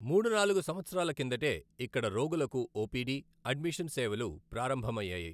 మూడు నాలుగు సంవత్సరాల కిందటే ఇక్కడ రోగులకు ఒపిడి, అడ్మిషన్ సేవలు ప్రారంభమయ్యాయి.